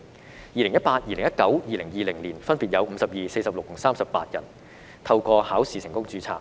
在2018年、2019年及2020年，則分別有52人、46人和38人透過考試成功註冊。